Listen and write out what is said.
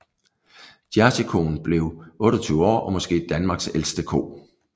Jerseykoen blev 28 år og måske Danmarks ældste ko